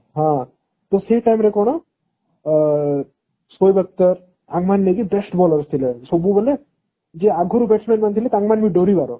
ହଁ ତ ସେଇ time ରେ କଣ ସୋଏବ ଅକ୍ତର ଏମାନେ best bowler ଥିଲେ ସବୁ ବେଳେ ଯିଏ batman ଆଗରୁ ଥିଲେ ତାଙ୍କମାନେ ବି ଦରିବାର